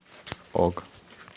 ок